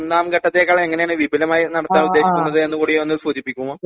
രണ്ടാം ഘട്ടം ഒന്നാംഘട്ടത്തിലേതിനേക്കാൾ എങ്ങനെയാണ് വിപുലമായി നടത്താൻ ഉദ്ദേശിക്കുന്നത് എന്ന് സൂചിപ്പിക്കുമോ